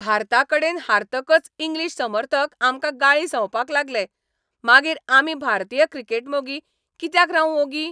भारताकडेन हारतकच इंग्लीश समर्थक आमकां गाळी संवपाक लागले, मागीर आमी भारतीय क्रिकेट मोगी कित्याक रावूं ओगी?